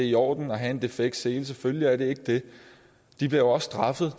i orden at have en defekt sele selvfølgelig er det ikke det de bliver også straffet